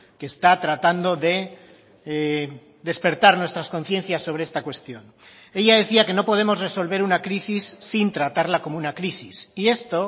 que está tratando de despertar nuestras conciencias sobre esta cuestión ella decía que no podemos resolver una crisis sin tratarla como una crisis y esto